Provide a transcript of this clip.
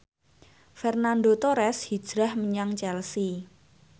Fernando Torres hijrah menyang Chelsea